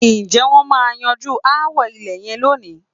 Ǹjẹ́ wọ́n máa yanjú aáwọ ilẹ̀ yẹn lónìí?